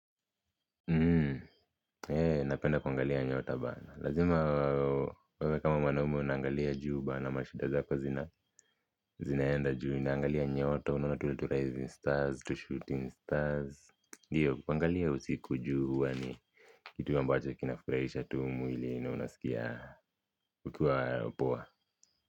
Ee napenda kuangalia nyota bana, lazima wewe kama mwanaume unangalia juu bana, mashida zako zina zinaenda juu, naangalia nyota, unaona tule tu raising stars, tu shooting stars hiyo, kuangalia usiku juu huwa ni kitu ambacho kinafurahisha tu mwili na unasikia ukiwa poa.